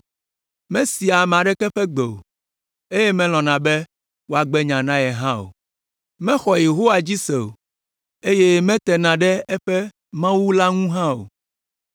Mesea ame aɖeke ƒe gbe o, eye melɔ̃na be woagbe nya na ye hã o. Mexɔ Yehowa dzi se o, eye metena ɖe eƒe Mawu la ŋu hã o.